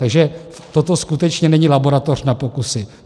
Takže toto skutečně není laboratoř na pokusy.